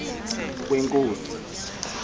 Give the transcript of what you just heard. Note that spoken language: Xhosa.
kwenkosi